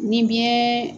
Ni biyɛn